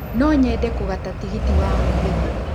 No nyende kũgata tigiti wa mũgithi